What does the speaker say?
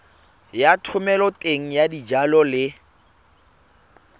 ya thomeloteng ya dijalo le